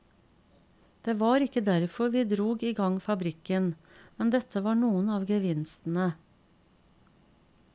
Det var ikke derfor vi drog i gang fabrikken, men dette var noen av gevinstene.